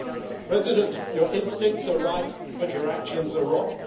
Mr Barroso, your instincts are right, but your actions are wrong.